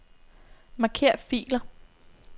Marker filer.